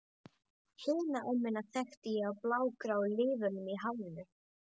Hina ömmuna þekkti ég á blágráu liðunum í hárinu.